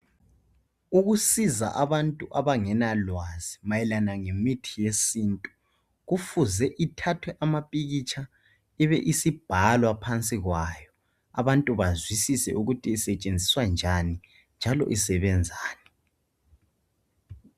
Ukusiza abantu abangenalwazi mayelana ngemithi yesintu Kufuze ithathwe amapikitsha ibe isibhalwa phansi kwayo abantu bazwisise ukuthi isetshenziswa njani njalo isebenzani